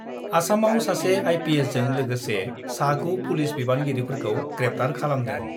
आसामाव सासे आइपिएसजों लोगोसे सा 9 पुलिस बिबानगिरिफोरखौ ग्रेप्टार खालामदों